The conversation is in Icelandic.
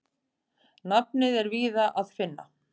Nafnið er víðar að finna.